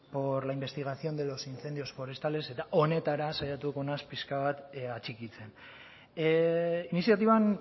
por la investigación de los incendios forestales eta honetara saiatuko naiz pixka bat atxikitzen iniziatiban